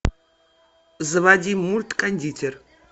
заводи мульт кондитер